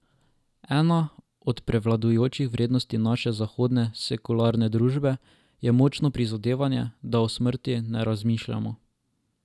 Ena od prevladujočih vrednot naše zahodne sekularne družbe je močno prizadevanje, da o smrti ne razmišljamo.